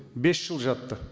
бес жыл жатты